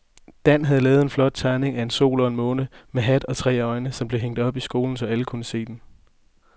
Dan havde lavet en flot tegning af en sol og en måne med hat og tre øjne, som blev hængt op i skolen, så alle kunne se den.